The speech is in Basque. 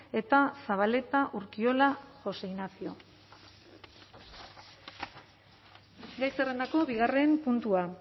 eta zabaleta urkiola josé ignacio gai zerrendako bigarren puntua